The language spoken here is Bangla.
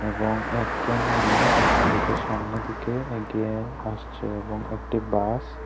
এবং একজন মানুষ এদিকে সামনে দিকে এগিয়ে আসছে এবং একটি বাস --